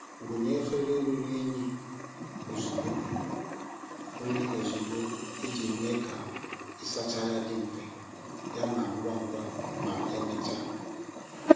Wunye efere ruru unyi ozugbo unyi ozugbo iji mee ka ịsacha ya dị mfe yana ngwa ngwa ma emechaa.